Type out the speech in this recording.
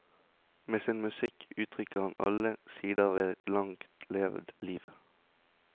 Med sin musikk uttrykker han alle sider av et langt levd liv.